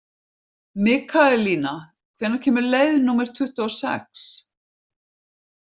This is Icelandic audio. Mikaelína, hvenær kemur leið númer tuttugu og sex?